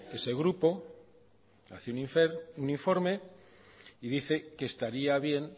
ese grupo hace un informe y dice que estaría bien